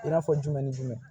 I n'a fɔ jumɛn ni jumɛn